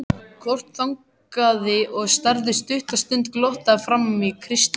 Kort þagnaði og starði stutta stund glottandi framan í Christian.